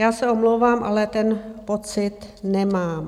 Já se omlouvám, ale ten pocit nemám.